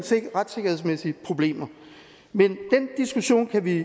retssikkerhedsmæssige problemer men den diskussion kan vi